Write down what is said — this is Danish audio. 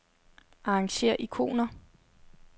Arrangér ikoner.